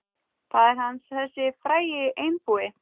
Faðir hans, þessi frægi einbúi.